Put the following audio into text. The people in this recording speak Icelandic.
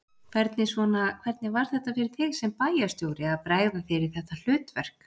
Hvernig svona, hvernig var þetta fyrir þig sem bæjarstjóri að bregða þér í þetta hlutverk?